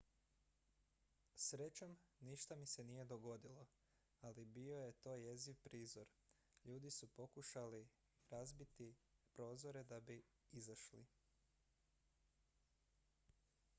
"""srećom ništa mi se nije dogodilo ali bio je to jeziv prizor; ljudi su pokušavali razbiti prozore da bi izašli.